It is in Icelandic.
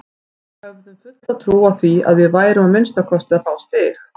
Við höfðum fulla trú á því að við værum að minnsta kosti að fá stig.